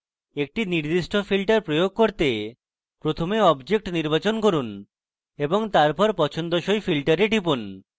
একটি নির্দিষ্ট filter প্রয়োগ করতে প্রথমে object নির্বাচন করুন এবং তারপর পছন্দসই filter টিপুন